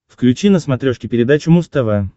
включи на смотрешке передачу муз тв